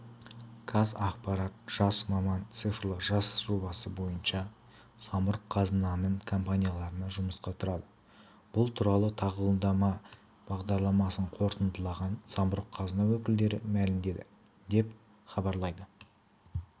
қазақпарат жас маман цифрлы жаз жобасы бойынша самұрық-қазынаның компанияларына жұмысқа тұрады бұл туралы тағылымдама бағдарламасын қорытындылаған самұрық-қазына өкілдері мәлімдеді деп хабарлайды